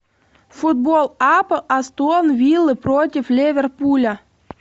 футбол апл астон виллы против ливерпуля